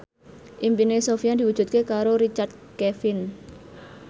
impine Sofyan diwujudke karo Richard Kevin